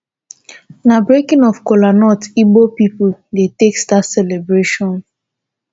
na breaking of cola nut ibo pipu dey take start celebration.